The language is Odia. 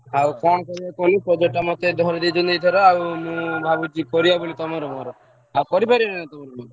ଆଉ କଣ କରିବ କହି project ଟା ମତେ ଧରେଇଦେଇଛନ୍ତି ଏଇଥର ଆଉ ମୁଁ ଭାବୁଛି କରିବା ତମର ମୋର ଆଉ କରିବା ତମର ମୋର?